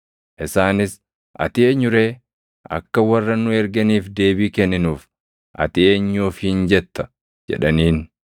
Isaanis, “Ati eenyu ree? Akka warra nu erganiif deebii kenninuuf ati eenyu ofiin jetta?” jedhaniin.